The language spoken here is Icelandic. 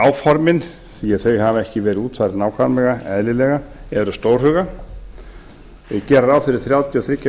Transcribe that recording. áformin því þau hafa ekki verið útfærð nákvæmlega eðlilega eru stórhuga og gera ráð fyrir þrjátíu og þrír